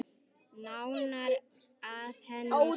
Nánar að henni síðar.